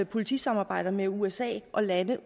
politisamarbejder med usa og lande